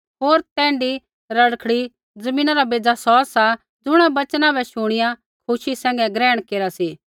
होर तैण्ढी रड़खड़ी ज़मीना रा बेज़ा सौ सा ज़ुणा वचना बै शुणिया खुशी सैंघै ग्रहण केरा सी